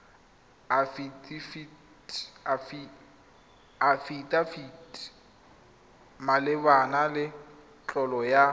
afidafiti malebana le tlolo ya